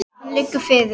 Hann liggur fyrir.